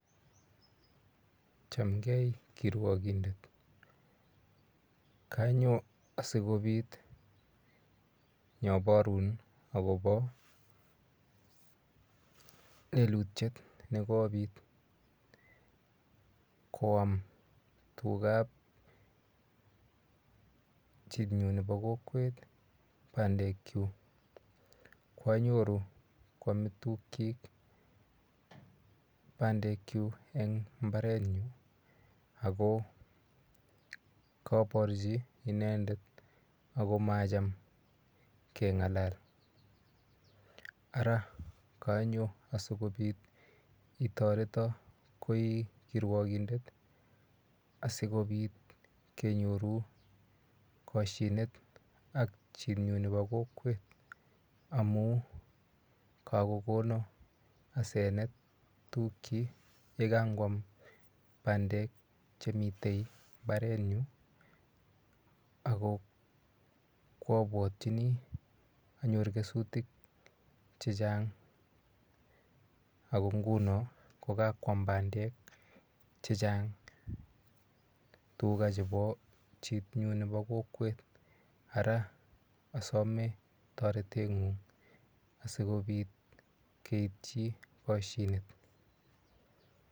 Chamgei kirwakindet. Kanyo asikopit nyaparun akopa lelutiet ne kopit. Koam tugap chinyu nepo kokwet pandekchuk. Koanyoru koame tugchik pandekchuk eng' mbaranyu ako kaparchi inendet ako macham keng'alal. Ara kanyo asikopit itareta ko i kirwakindet asikopit kenyoru kashinet ak chitnyu nepo kokwet amu kakokona asenet tugchik ye kangoam pandek che mitei mbaranyu ak ko koapwatchini anyor kesutik che chang'. Ako nguno ko kakoam pandek che chang' tuga chepo chitnyu nepo kokwet ara asamei taretet ng'ung' asikopit keitchii kashinet.